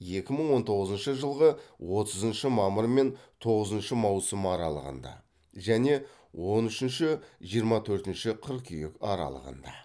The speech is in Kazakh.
екі мың он тоғызыншы жылғы отызыншы мамыр мен тоғызыншы маусым аралығында және он үшінші жиырма төртінші қыркүйек аралығында